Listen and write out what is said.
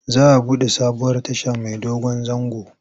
Za a buɗe sabuwar tasha mai dogon zango.